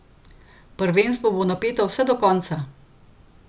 Prvenstvo bo napeto vse do konca!